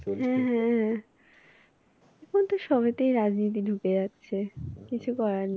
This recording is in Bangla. হ্যাঁ হ্যাঁ হ্যাঁ এখন তো সবেতেই রাজনীতি ঢুকে যাচ্ছে। কিছু করার নেই